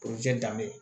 danbe